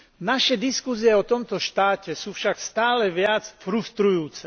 Naše diskusie o tomto štáte sú však stále viac frustrujúce.